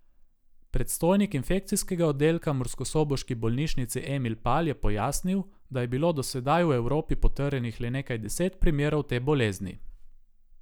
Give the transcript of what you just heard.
Predstojnik infekcijskega oddelka murskosoboški bolnišnici Emil Pal je pojasnil, da je bilo do sedaj v Evropi potrjenih le nekaj deset primerov te bolezni.